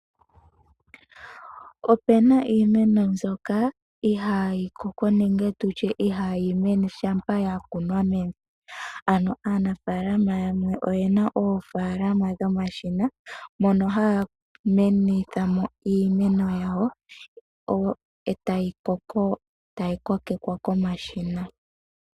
Opena iimeno mbyoka ihaayi koko nenge tutye ihaayi mene shampa yakunwa mevi. Ano aanafalama yamwe oyena oofaalama dhomashina, mono haya kokeke mo iimeno yawo etayi koko, tayi kokekwa komashina.